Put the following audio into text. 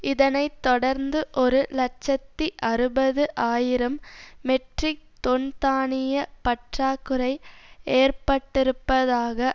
இதனை தொடர்ந்து ஒரு இலட்சத்தி அறுபது ஆயிரம் மெட்ரிக் தொன் தானிய பற்றாக்குறை ஏற்பட்டிருப்பதாக